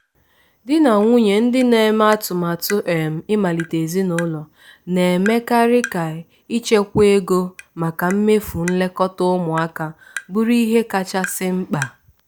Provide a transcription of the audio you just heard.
di na nwunye ndị na-eme atụmatụ um ịmalite ezinụlọ na-emekarị ka ichekwa ego maka mmefu nlekọta ụmụaka bụrụ ihe kachasị mkpa.